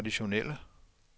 traditionelle